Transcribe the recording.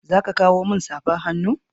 Za ka kawo min safar hannu?